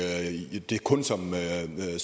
det